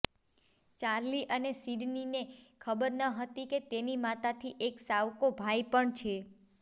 Charlie અને સિડનીને ખબર ન હતી કે તેની માતાથી એક સાવકો ભાઈ પણ છે